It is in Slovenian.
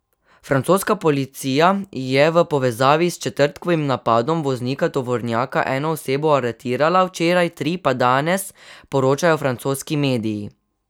Francoska policija je v povezavi s četrtkovim napadom voznika tovornjaka eno osebo aretirala včeraj, tri pa danes, poročajo francoski mediji.